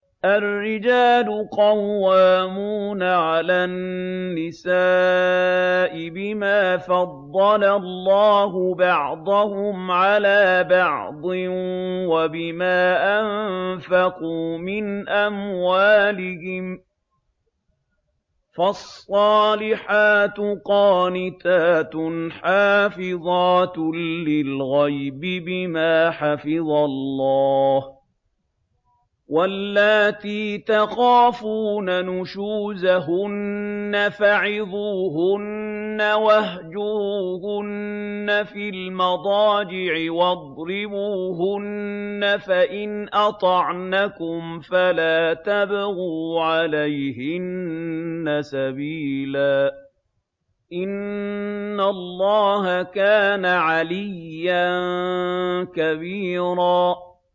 الرِّجَالُ قَوَّامُونَ عَلَى النِّسَاءِ بِمَا فَضَّلَ اللَّهُ بَعْضَهُمْ عَلَىٰ بَعْضٍ وَبِمَا أَنفَقُوا مِنْ أَمْوَالِهِمْ ۚ فَالصَّالِحَاتُ قَانِتَاتٌ حَافِظَاتٌ لِّلْغَيْبِ بِمَا حَفِظَ اللَّهُ ۚ وَاللَّاتِي تَخَافُونَ نُشُوزَهُنَّ فَعِظُوهُنَّ وَاهْجُرُوهُنَّ فِي الْمَضَاجِعِ وَاضْرِبُوهُنَّ ۖ فَإِنْ أَطَعْنَكُمْ فَلَا تَبْغُوا عَلَيْهِنَّ سَبِيلًا ۗ إِنَّ اللَّهَ كَانَ عَلِيًّا كَبِيرًا